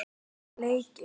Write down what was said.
Hvaða leiki?